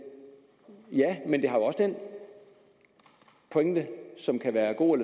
ja men det har også den pointe som kan være god